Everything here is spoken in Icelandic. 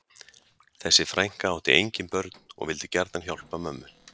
Þessi frænka átti engin börn og vildi gjarnan hjálpa mömmu